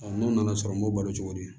n'o nana sɔrɔ n b'o balo cogo di